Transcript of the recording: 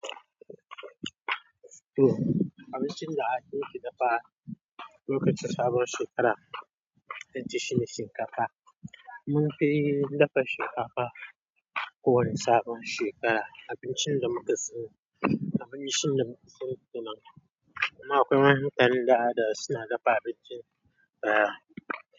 Abincin da ake dafa lokacin sabon shekara, ita shine shinkafa. Mun fi dafa shinkafa kowane sabon shekara, abincin da muka sani, abincin da muka sani tunan. Amma akwai wani gidan da suna dafa abincin baya.